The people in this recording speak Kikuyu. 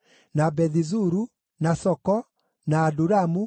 na Bethi-Zuru, na Soko, na Adulamu,